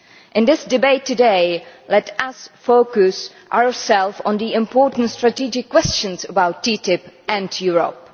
In this debate today, let us focus on the important strategic questions about TTIP and Europe.